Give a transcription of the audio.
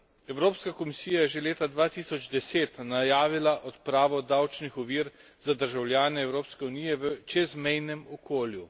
Evropska komisija je že leta 2010 najavila odpravo davčnih ovir za državljane Evropske unije v čezmejnem okolju.